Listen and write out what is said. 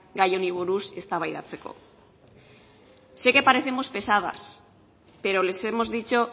gia honi buruz eztabaidatzeko sé que parecemos pesadas pero les hemos dicho